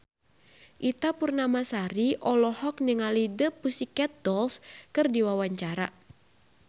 Ita Purnamasari olohok ningali The Pussycat Dolls keur diwawancara